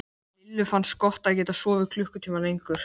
Lillu fannst gott að geta sofið klukkutíma lengur.